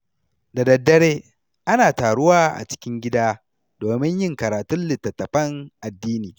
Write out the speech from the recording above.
Da daddare, ana taruwa a cikin gida domin yin karatun littattafan addini.